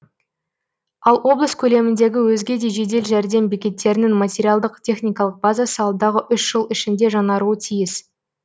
ал облыс көлеміндегі өзге де жедел жәрдем бекеттерінің материалдық техникалық базасы алдағы үш жыл ішінде жаңаруы тиіс